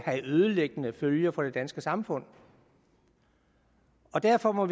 ødelæggende følger for det danske samfund derfor må